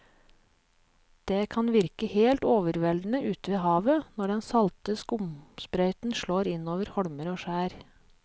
Det kan virke helt overveldende ute ved havet når den salte skumsprøyten slår innover holmer og skjær.